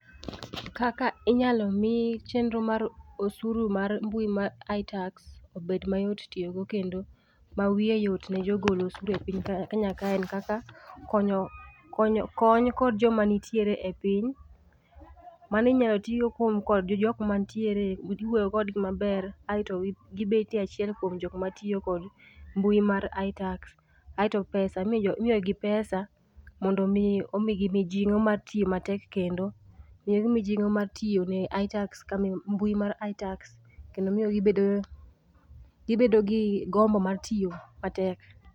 Kaka inyalo mi chenro mar osuru mar mbui mar Itax obed mayot tiyo go kendo. ma wiye yot ne jogol osuru e Kenya ka en kaka konyo, kony kod joma nitiere e piny ,mano inyal tii go kod jokmantiere e udi, iwuoyo kodgi maber aito gibet e achiel kuom jokma tiyo kod mbui mar itax, aito pesa, imiyo gi pesa mondo mi omigi mijingo mar tiyo matek kendo, miyo gi mijingo mar tiyo ne itax, mbui mar itax kendo miyo gibedo gibed gi gombo mar tiyo matek